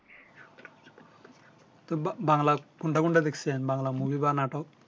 তো বা বাংলা কোনটা কোনটা দেখছেন বাংলা মুভি বা নাটক